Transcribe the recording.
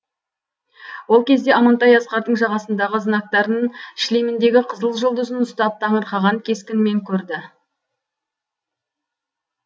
ол кезде амантай асқардың жағасындағы знактарын шлеміндегі қызыл жұлдызын ұстап таңырқанған кескінмен көрді